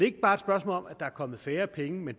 ikke bare et spørgsmål om at der er kommet færre penge